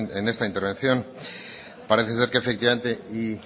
en esta intervención parece ser que efectivamente y